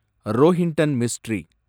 Rohinton mystery